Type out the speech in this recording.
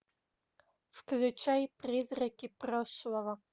включай призраки прошлого